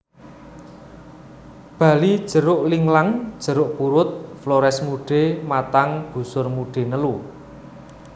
Bali jeruk linglang jeruk purut Flores mude matang busur mude nelu